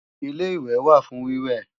Ilé-ìwẹ̀ wà fún wíwẹ̀